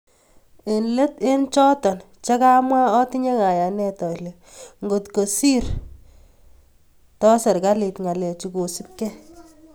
Eng let eng choto che kamwa otinye kayanet ale ngotko sir to serkalit ngalechu kosubkei